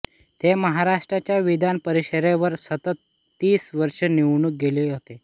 ते महाराष्ट्राच्या विधानपरिषदेवर सतत तीस वर्षे निवडून गेले होते